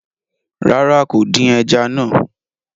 Rárá, kò dín ẹja náà